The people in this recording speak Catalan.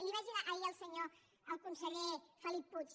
li ho vaig dir ahir al senyor al conseller felip puig